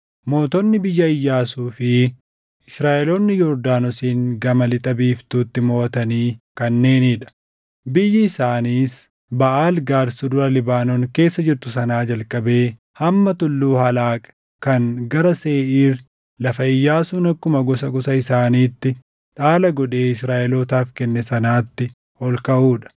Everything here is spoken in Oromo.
Mootonni biyya Iyyaasuu fi Israaʼeloonni Yordaanosiin gama lixa biiftuutti moʼatanii kanneenii dha: biyyi isaaniis Baʼaal Gaad Sulula Libaanoon keessa jirtu sanaa jalqabee hamma Tulluu Halaaq kan gara Seeʼiir lafa Iyyaasuun akkuma gosa gosa isaaniitti dhaala godhee Israaʼelootaaf kenne sanaatti ol kaʼuu dha.